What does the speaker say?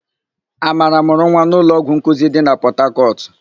Amara mụrụ nwa n'ụlọọgwụ nkuzi dị na Pọtakọtụ.